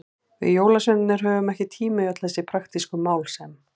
Við jólasveinarnir höfum ekki tíma í öll þessi praktísku mál sem.